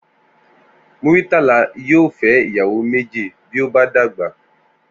Múrítàlà yóò fé̩ ìyàwó méjì bí ó bá dàgbà